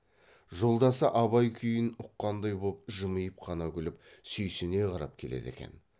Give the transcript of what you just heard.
жолдасы абай күйін ұққандай боп жымиып қана күліп сүйсіне қарап келеді екен